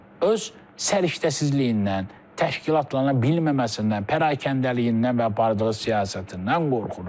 Öz səriştəsizliyindən, təşkilatlana bilməməsindən, pərakəndəliyindən və bardığı siyasətindən qorxur.